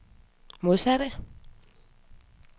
modsatte